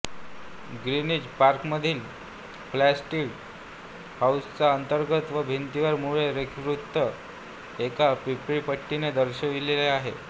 Greenwich पार्कमधील Flamsteed हाउसच्या अंगणात व भिंतीवर मूळ रेखावृत्त एका पितळी पट्टीने दर्शविलेले आहे